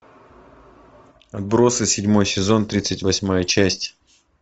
отбросы седьмой сезон тридцать восьмая часть